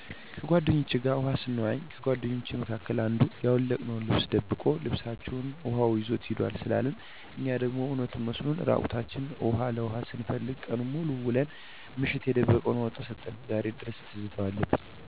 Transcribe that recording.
ከጓደኞቸ ጋር ውሀ ሰንዋኝ ከጓደኞቻችን መካከል አንዱ ያወለቅነውን ልብስ ደብቆ ልብሰችሁንማ ውሀው ይዞት ሄደ ሲለን እኛ ደሞ እውነቱን መስሎን እራቁታችን ውሀ ለኋ ስንፈልግ ቀኑን ሙሉ ውለን ምሽት የደበቀውን አውጥቶ ሰጠን ዛሬ ድረስ ትዝታው አለብኝ።